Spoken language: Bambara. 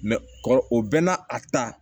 kɔrɔ o bɛɛ n'a a ta